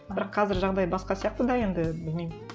бірақ қазір жағдай басқа сияқты да енді білмеймін